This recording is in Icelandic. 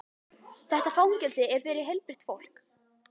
Þetta fangelsi er fyrir heilbrigt fólk.